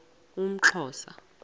umxhosa